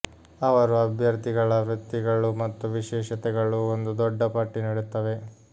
ಅವರು ಅಭ್ಯರ್ಥಿಗಳ ವೃತ್ತಿಗಳು ಮತ್ತು ವಿಶೇಷತೆಗಳು ಒಂದು ದೊಡ್ಡ ಪಟ್ಟಿ ನೀಡುತ್ತವೆ